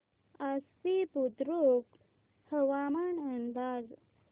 आश्वी बुद्रुक हवामान अंदाज